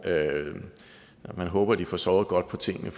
man må håbe at de får sovet godt på tingene